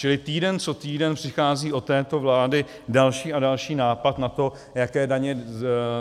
Čili týden co týden přichází od této vlády další a další nápad na to, jaké daně